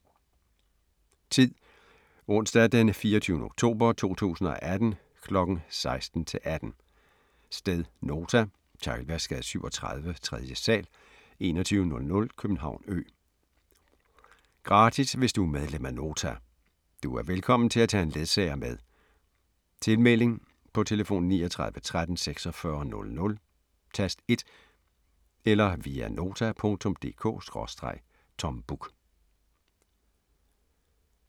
Tid: Onsdag 24. oktober 2018 kl. 16-18 Sted: Nota. Teglværksgade 37, 3. sal, 2100 København Ø Gratis hvis du er medlem af Nota. Du er velkommen til at tage en ledsager med Tilmelding: På telefon 39 13 46 00, tast 1 eller via nota.dk/tombuk